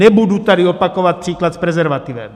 Nebudu tady opakovat příklad s prezervativem.